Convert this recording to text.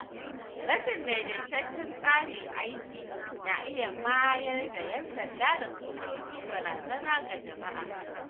Rashin daidaitaccen tsarin aiki na iya mayar da ‘yan sanda da sojoji barazana ga jama’a.